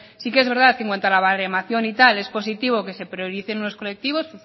sí que es verdad que en cuanto a la baremación y tal es positivo que se prioricen los colectivos